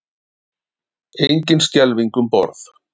Engin skelfing um borð